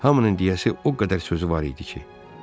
Hamının deyəsi o qədər sözü var idi ki,